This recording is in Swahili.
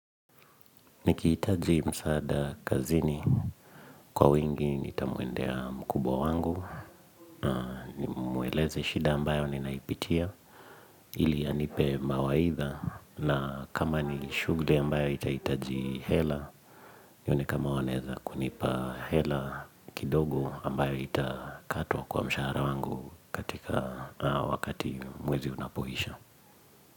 Nikihitaji msaada kazini kwa wingi nitamuendea mkubwa wangu nimueleze shida ambayo ninaipitia ili anipe mawaidha na kama ni shughuli ambayo itahitaji hela nione kama wanaeza kunipa hela kidogo ambayo itakatwa kwa mshahara wangu katika wakati mwezi unapoisha.